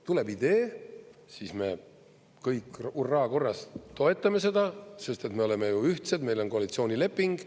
Tuleb idee, siis me kõik hurraakorras toetame seda, sest me oleme ju ühtsed, meil on koalitsioonileping.